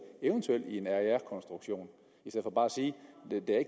eventuelt i en aer konstruktion